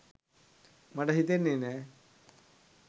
මට හිතෙන්නෙ නෑ